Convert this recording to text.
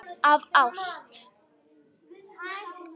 Af ást.